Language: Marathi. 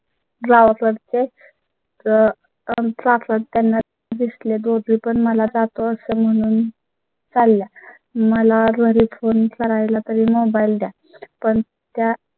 रा वापरते आहेत. त्यांना दिसले दोघे पण मला तो असतो म्हणून चालेल. मला त्वरीत फोन करायला तरी mobile द्या पण त्या